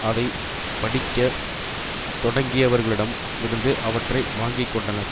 அதை படிக்க தொடங்கியவர்களிடம் இருந்து அவற்றை வாங்கி கொண்டனர்